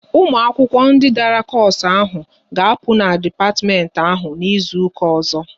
Ụmụ akwụkwọ ndị dara koosu ahụ ga-apụ n'dipatimenti ahụ n'izuka ọzọ!